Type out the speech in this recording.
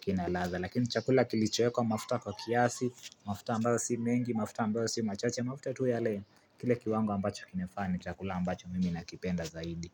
kina latha, lakini chakula kilichowekwa mafuta kwa kiasi, mafuta ambayo si mengi, mafuta ambayo si machache, mafuta tu ya le, kile kiwango ambacho kinafaa ni, chakula ambacho mimi nakipenda zaidi.